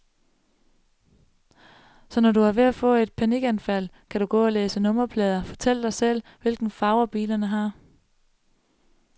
Så når du er ved at få et panikanfald, kan du gå og læse nummerplader, fortælle dig selv, hvilke farver bilerne har.